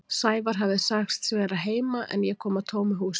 Sævar hafði sagst verða heima en ég kom að tómu húsi.